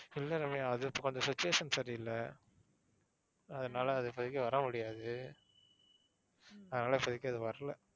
இல்ல ரம்யா அது இப்போ கொஞ்சம் situation சரி இல்ல. அதுனால அது இப்போதைக்கு வர முடியாது. அதனால இப்போதைக்கு அது வரல.